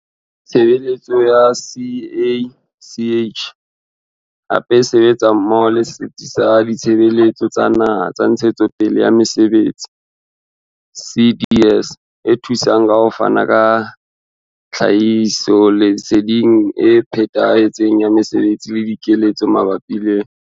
Tshebeletso ya CACH hape e sebetsa mmoho le setsi sa Ditshebeletso tsa Naha tsa Ntshetsepele ya Mesebetsi, CDS, e thusang ka ho fana ka tlhahisoleseding e phethahetseng ya mesebetsi le dikeletso mabapi le.